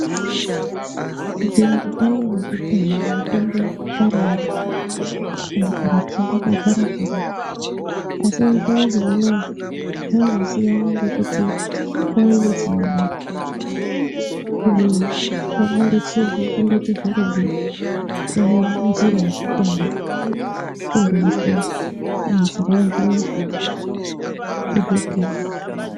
Kubvira kudhaya nekudhaya mitombo yagara iriyo ende kurapwa kwakagara kuriyo asi zvinezvi unowu zvazosiyana ngekuti kwanechiyungu. Zviro zvakandochinjwa kubva kunjira yakudhara kundoiswe munzira yazvinezvi, zvega.